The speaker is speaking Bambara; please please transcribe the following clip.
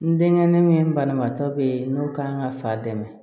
N denkɛ min banabaatɔ bɛ ye n'o kan ka fa dɛmɛ